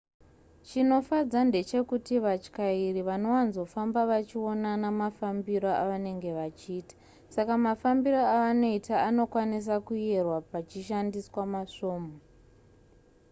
chinofadza ndechekuti vatyairi vanowanzofamba vachionana mafambiro avanenge vachiita saka mafambiro avanoita anokwanisa kuyerwa pachishandiswa masvomhu